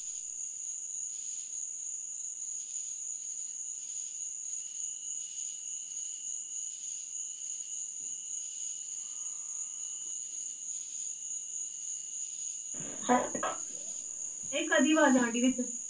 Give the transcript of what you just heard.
ਏਹ ਕਾਹਦੀ ਆਵਾਜ਼ ਆਉਣ ਡਈ ਵਿੱਚ